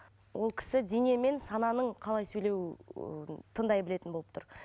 ол кісі дене мен сананың қалай сөйлеуін тыңдай білетін болып тұр